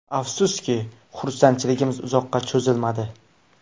Afsuski, xursandchiligim uzoqqa cho‘zilmadi.